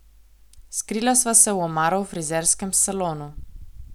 Skrila sva se v omaro v frizerskem salonu.